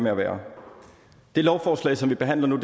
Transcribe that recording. med at være det lovforslag som vi behandler nu